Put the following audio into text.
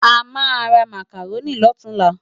Amá rá Mákáróni lòtúnlá